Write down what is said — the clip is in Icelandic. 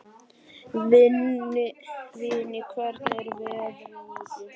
Vinni, hvernig er veðrið úti?